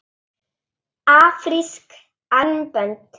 Afrísk armbönd?